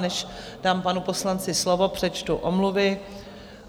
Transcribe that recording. Než dám panu poslanci slovo, přečtu omluvy.